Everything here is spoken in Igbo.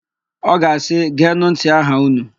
Ọ ga-asị, "geenụ ntị aha ụnụ"!